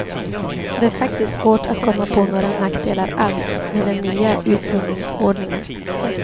Det är faktiskt svårt att komma på några nackdelar alls med den nya utgivningsordningen.